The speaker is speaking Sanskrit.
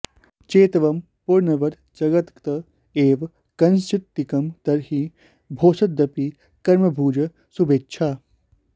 चेत्त्वं पुनर्बत जगद्गत एव कश्चित्किं तर्हि भोस्तदपि कर्मभुजः शुभेच्छा